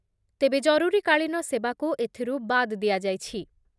ତେବେ ଜରୁରୀକାଳୀନ ସେବାକୁ ଏଥିରୁ ବାଦ୍ ଦିଆଯାଇଛି ।